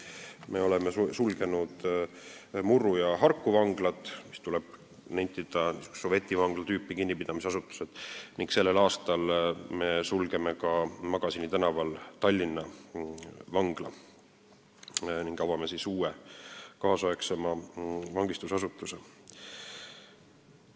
Me oleme sulgenud Murru ja Harku vangla, mis, tuleb nentida, olid niisugused sovetivangla tüüpi kinnipidamisasutused, ning sellel aastal sulgeme Magasini tänaval asuva Tallinna vangla ning avame uue, kaasaegsema vangistusasutuse.